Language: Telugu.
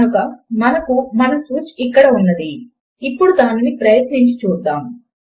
కనుక మనకు మన స్విచ్ ఇక్కడ ఉన్నది ఇప్పడు దానిని ప్రయత్నించి చూద్దాము